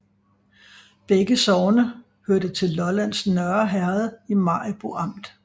Begge sogne hørte til Lollands Nørre Herred i Maribo Amt